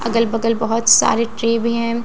अगल बगल बहुत सारे ट्रे भी हैं।